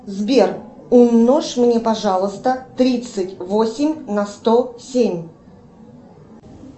сбер умножь мне пожалуйста тридцать восемь на сто семь